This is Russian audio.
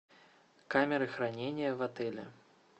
камеры хранения в отеле